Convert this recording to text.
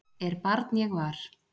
er barn ég var